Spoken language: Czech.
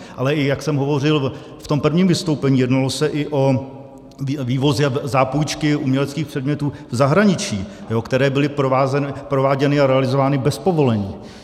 Ale i jak jsem hovořil v tom prvním vystoupení, jednalo se i o vývozy a zápůjčky uměleckých předmětů v zahraničí, které byly prováděny a realizovány bez povolení.